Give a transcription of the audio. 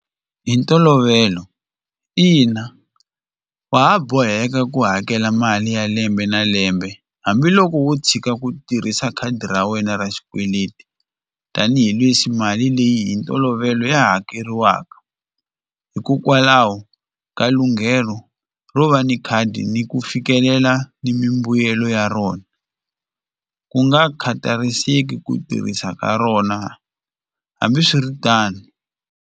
Hi ntolovelo ina wa ha boheka ku hakela mali ya lembe na lembe hambiloko wo tshika ku tirhisa khadi ra wena ra xikweleti tanihileswi mali leyi hi ntolovelo ya ha hakeriwaka hikokwalaho ka lunghelo ro va ni khadi ni ku fikelela ni mimbuyelo ya rona ku nga khatariseki ku tirhisa ka rona hambiswiritano.